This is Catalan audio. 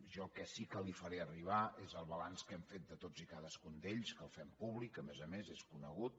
jo el que sí que li faré arribar és el balanç que hem fet de tots i cadascun que el fem públic que a més a més és conegut